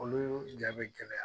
Olu ja bɛ gɛlɛya